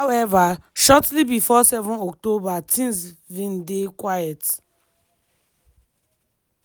howeva shortly bifor 7 october tins vin dey quiet.